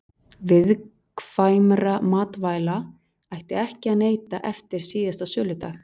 viðkvæmra matvæla ætti ekki að neyta eftir síðasta söludag